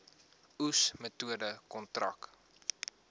oes metode kontrak